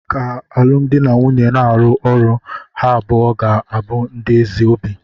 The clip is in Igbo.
Ka alụmdi na nwunye na-arụ ọrụ, ha abụọ ga-abụ ndị ezi obi.